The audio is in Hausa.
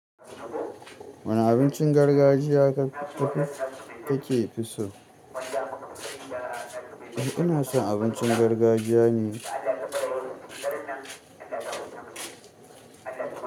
Wani abinci gargajiya kake fiso ina son abincin gargajiya ne.